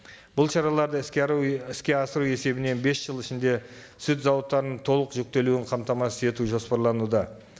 бұл шараларды іске асыру есебінен бес жыл ішінде сүт зауыттарының толық жүктелуін қамтамасыз етуі жоспарлануда